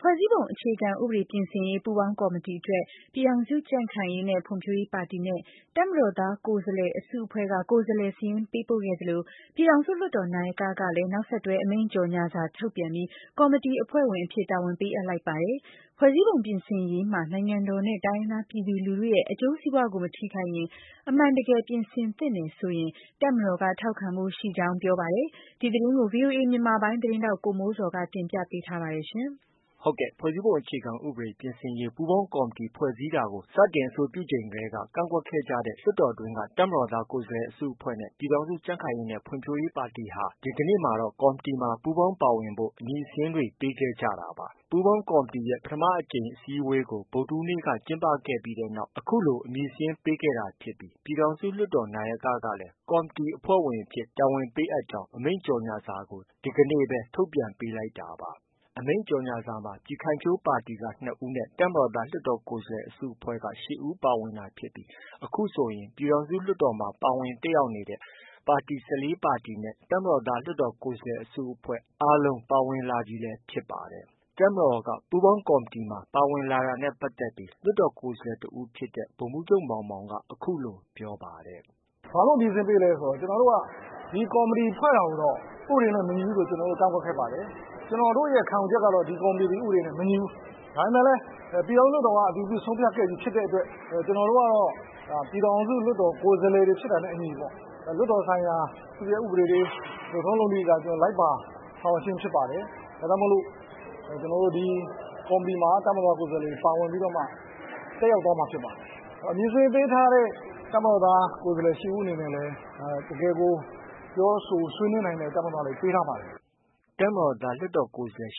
ဖွဲ့စည်းပုံအခြေခံဥပဒေ ပြင်ဆင်ရေး ပူးပေါင်းကော်မတီအတွက် ပြည်ထောင်စုကြံ့ခိုင်ရေးနဲ့ ဖွံ့ဖြိုးရေးပါတီနဲ့ တပ်မတော်သားကိုယ်စားလှယ်အစုအဖွဲ့က ကိုယ်စားလှယ်စာရင်းပေးပို့ခဲ့သလို ပြည်ထောင်စုလွှတ်တော် နာယကကလည်း နောက်ဆက်တွဲ အမိန့်ကြော်ငြာစာထုတ်ပြန်ပြီး ကော်မတီအဖွဲ့ဝင်အဖြစ် တာဝန်ပေးအပ်လိုက်ပါတယ်။ ဖွဲ့စည်းပုံပြင်ဆင်ရေးမှာ နိုင်ငံတော်နဲ့ တိုင်းရင်းသားပြည်သူလူထုရဲ့ အကျိုးစီးပွားကို မထိခိုက်ရင်၊ အမှန်တကယ် ပြင်ဆင်သင့်တယ်ဆိုရင် တပ်မတော်က ထောက်ခံဖို့ရှိကြောင်း ပြောပါတယ်။ ဒီသတင်းကိုတော့ ဗွီအိုအေမြန်မာပိုင်း သတင်းထောက် ကိုမိုးဇော်က တင်ပြထားပါတယ်။ ဖွဲ့စည်းပုံ အခြေခံဥပဒေပြင်ဆင်နိုင်ရေး ပူးပေါင်းကော်မတီ ဖွဲ့စည်းတာကို စတင် အဆိုပြုချိန်ကတည်းက ကန့်ကွက်ခဲ့ကြတဲ့ လွှတ်တော်တွင်းက တပ်မတော်သားကိုယ်စားလှယ် အစုအဖွဲ့နဲ့ ပြည်ထောင်စု ကြံ့ခိုင်ရေးနဲ့ ဖွံ့ဖြိုးရေးပါတီတွေဟာ ဒီကနေ့မှာတော့ ကော်မတီမှာ ပူးပေါင်းပါဝင်ဖို့ အမည်စာရင်းတွေပေးခဲ့ကြတာပါ။ ပူးပေါင်းကော်မတီရဲ့ ပထမအကြိမ် အစည်းအဝေးကို ဗုဒ္ဓဟူးနေ့က ကျင်းပပြီးတဲ့နောက် အခုလို အမည်စာရင်းပေးခဲ့တာဖြစ်ပြီး ပြည်ထောင်စုလွှတ်တော်နာယက ကလည်း ကော်မတီအဖွဲ့ဝင်အဖြစ် တာဝန်ပေးအပ်ကြောင်း အမိန့်ကြော်ငြာစာကို ဒီကနေ့ပဲ ထုတ်ပြန်ပေးလိုက်တာပါ။ ဒီအမိန့်ကြော်ငြာစာမှာ ပြည်ခိုင်ဖြိုးပါတီက ၂ ဦးနဲ့ တပ်မတော်သားလွှတ်တော်ကိုယ်စားလှယ် အစုအဖွဲ့က ၈ ဦးပါဝင်တာဖြစ်ပြီး အခုဆိုရင် ပြည်ထောင်စုလွှတ်တော်မှာ ပါဝင်တက်ရောက်နေတဲ့ ပါတီ ၁၄ ပါတီနဲ့ တပ်မတော်သား လွှတ်တော်ကိုယ်စားလှယ်အစုအဖွဲ့ အားလုံးပါဝင်လာပြီလည်း ဖြစ်ပါတယ်။ တပ်မတော်က ပူးပေါင်းကော်မတီပါဝင်လာတာနဲ့ပတ်သက်ပြီး လွှတ်တော်ကိုယ်စားတစ်ဦးဖြစ်တဲ့ ဗိုလ်မှူးချုပ်မောင်မောင်က အခုလို ပြောပါတယ်။ “ ဘာလို့ အမည်စာရင်းပေးလဲဆိုတော့ ကျနော်တို့က ကော်မတီကို ဖွဲ့တာကိုတော့ ဥပဒေနဲ့ မညီဘူးဆိုပြီး ကန့်ကွက်ခဲ့ပါတယ်။ ကျနော်တို့ရဲ့ ခံယူချက်ကတော့ ဒီကော်မတီသည် ဥပဒေနဲ့ မညီဘူး။ ဒါပေမဲ့လည်း ပြည်ထောင်စုလွှတ်တော်မှာ အတည်ပြုဆုံးဖြတ်ခဲ့ပြီးဖြစ်တဲ့အတွက် ကျနော်တို့ကတော့ ပြည်ထောင်စုလွှတ်တော်မှာ ကိုယ်စားလှယ်တွေဖြစ်တာနဲ့အညီ လွှတ်တော်ဆိုင်ရာ သူ့ရဲ ဥပဒေတွေ လုပ်ထုံးလုပ်နည်းတွေအတိုင်း လိုက်ပါဆောင်ရွက်ခြင်းဖြစ်ပါတယ်။ ဒါကြောင့်မို့လို့ ကျနော်တို့ ဒီ ကော်မတီမှာ တပ်မတော်သား ကိုယ်စားလှယ်တွေ ပါဝင်ပြီးတော့မှ တက်ရောက် သွားမှာဖြစ်ပါတယ်။ အမည်စာရင်းပေးထားတဲ့ တပ်မတော်သား ကိုယ်စားလှယ် ၈ ဦး အနေနဲ့လည်း တကယ်ကို ပြောဆိုဆွေးနွေးနိုင်တဲ့ တပ်မတော်သားတွေ ပေးထားပါတယ်။” တပ်မတော်သားကိုယ်စားလှ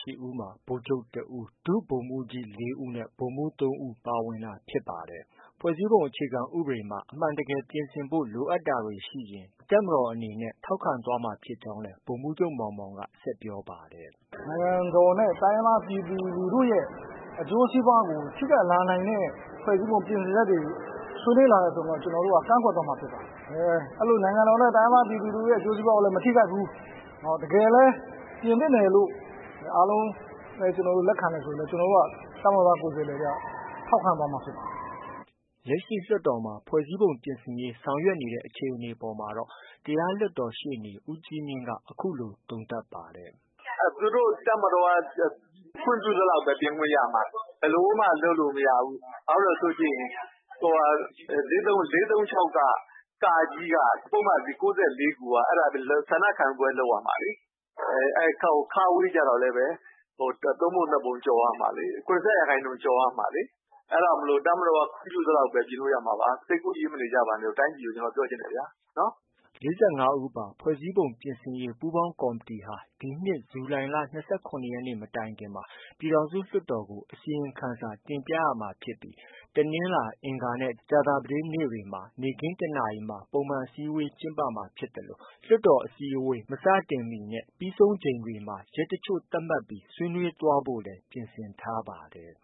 ယ် ၈ဦးမှာ ဗိုလ်ချုပ်တစ်ဦး၊ ဒုဗိုလ်မှူးကြီး ၄ဦး၊ ဗိုလ်မှူး ၃ဦး ပါဝင်တာဖြစ်ပါတယ်။ ဖွဲ့စည်းပုံအခြေခံဥပဒေမှာ အမှန်တကယ်ပြင်ဆင်ဖို့ လိုအပ်တာတွေရှိရင် တပ်မတော်အနေနဲ့ ထောက်ခံသွားမှာဖြစ်ကြောင်းလည်း ဗိုလ်မှူးချုပ် မောင်မောင်က ဆက်ပြောပါတယ်။ “ နိုင်ငံတော်နဲ့ တိုင်းရင်းသားပြည်သူလူထုရဲ့ အကျိုးစီးပွားကို ထိခိုက်လာနိုင်တဲ့ ဖွဲ့စည်းပုံပြင်ဆင်ချက်တွေ ဆွေးနွေးလာတယ်ဆိုရင်တော့ ကျနော်တို့က ကန့်ကွက်သွားမှာဖြစ်ပါတယ်။ နိုင်ငံတော်နဲ့ တိုင်းရင်းသား ပြည်သူလူထုရဲ့ အကျိုးစီးပွားကိုလည်း မထိခိုက်ဘူး။ တကယ်လည်း ပြင်သင့်တယ် လို့ အားလုံး လက်ခံတယ် ဆိုရင်လည်း ကျနော်တို့က တပ်မတော်သား ကိုယ်စားလှယ်တွေ က ထောက်ခံသွားမှာ ဖြစ်ပါတယ်။” လက်ရှိ လွှတ်တော်မှာ ဖွဲ့စည်းပုံပြင်ဆင်ရေး ဆောင်ရွက်နေတဲ့ အခြေအနေအပေါ်မှာတော့ တရားလွှတ်တော် ရှေ့နေ ဦးကြီးမြင့်က အခုလို သုံးသပ်ပါတယ်။ “ သူတို့ တပ်မတော်က ခွင့်ပြုသလောက်ပဲ ပြင်ခွင့်ရမှာ။ ဘယ်လိုမှ လုပ်လို့ မရဘူး။ ဘာဖြစ်လို့လည်းဆိုရင် ၄၃၆ က ပုဒ်မ ၉၄ခုက အဲဒါ ဆန္ဒခံယူပွဲလုပ်ရမှာလေ။ အဲဒီ ကျတော့လည်းပဲ ၃ပုံ ၂ပုံကျော်ရမှာလေ။ ၇၅ ရာခိုင်နှုန်း ကျော်ရမှာလေ။ အဲဒါကြောင့်မို့ တပ်မတော်က ခွင့်ပြု သလောက်ပဲ ပြင်လို့ ရမှာပါ။ စိတ်ကူးယဉ်မနေကြပါနဲ့လို့ တိုင်းပြည်ကို ကျနော် ပြောချင်တယ်ဗျာ။” ၄၅ဦးပါ ဖွဲ့စည်းပုံပြင်ဆင်ရေးပူးပေါင်းကော်မတီဟာ ဒီနှစ်ဇူလိုင်လ ၂၇ရက်နေ့ မတိုင်မီမှာ ပြည်ထောင်စု လွှတ်တော်ကို အစီရင်ခံစာတင်ပြရမှာဖြစ်ပြီး တနင်္လာ၊ အင်္ဂါနဲ့ ကြာသပတေးနေ့တွေမှာ နေ့ခင်း ၁နာရီမှာ ပုံမှန်အစည်းဝေးကျင်းပမှာဖြစ်သလို လွှတ်တော်အစည်းအဝေး မစတင်မီနဲ့ ပြီးဆုံးချိန်တွေမှာ ရက်တစ်ချို့သတ်မှတ်ပြီး ဆွေးနွေးသွားဖို့လည်း ပြင်ဆင်ထားပါတယ်